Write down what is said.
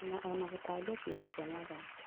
Na ona gũtambia kiugokĩa Mwathani